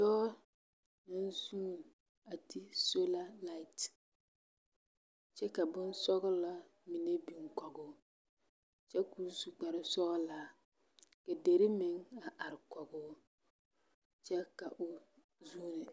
Dɔɔ naŋ zuuni a ti sola layiti kyɛ ka bonsɔgelaa mine biŋ kɔgoo kyɛ k'o su kpare sɔgelaa ka deri meŋ a are kɔgoo kyɛ ka o zuuni.